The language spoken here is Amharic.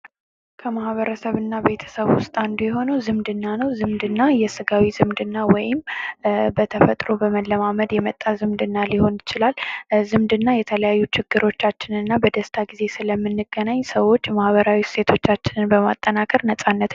ከማህበረሰብና ቤተሰብ ውስጥ አንዱ የሆነው ዝምድና ነው ስምደና የስጋዌ ዝምድና ወይንም በተፈጥሮ በመለማመድ የመጣ ሊሆን ይችላል። ዝምድና የተለያዩ ችግሮቻችንንና እምንገናኝ ሴቶች ማህበራዊ እሴቶቻችንን በማጠናከር ነፃነታችንን እናገኛለን።